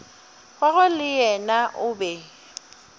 gagwe le yena o be